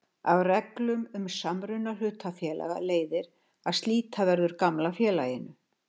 Af reglum um samruna hlutafélaga leiðir að slíta verður gamla félaginu.